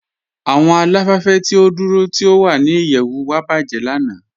Awọn aláfẹ̀fẹ̀ ti o dúró tí o wà ní ìyẹ̀wù wa bajẹ̀ lànà.